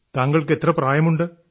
താങ്കൾക്ക് എത്ര പ്രായമുണ്ട്